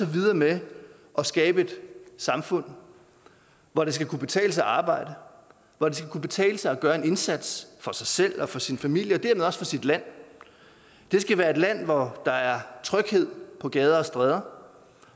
videre med at skabe et samfund hvor det skal kunne betale sig at arbejde hvor det skal kunne betale sig at gøre en indsats for sig selv og for sin familie og for sit land det skal være et land hvor der er tryghed på gader og stræder